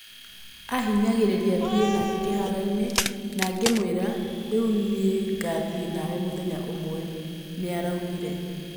Ahinyagĩrĩria thiĩ nake kĩharoinĩ, na ngĩmwĩra, rĩu nĩngathiĩ nawe mũthenya ũmwe, "nĩaraugire